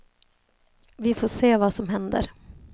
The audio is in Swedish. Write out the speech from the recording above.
Vi får se vad som händer.